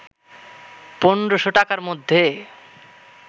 ১৫০০ টাকার মধ্যে